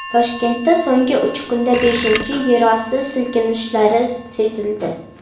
Toshkentda so‘nggi uch kunda beshinchi yerosti silkinishlari sezildi.